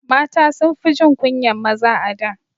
Mata sunfi jin kunyan maza a da